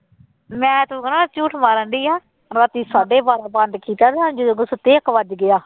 ਮੈਂ ਤੁੰ ਕਹਿਣਾ ਝੂਠ ਮਾਰਨਡੀ ਆ ਰਾਤੀ ਸਾਢੇ ਬਾਰਾਂ ਬੰਦ ਕੀਤਾ ਜਦੋਂ ਮੈਂ ਸੁੱਤੀ ਇੱਕ ਵੱਜ ਗਿਆ।